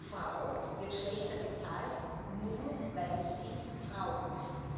Frau wird schlechter bezahlt, nur weil sie Frau ist.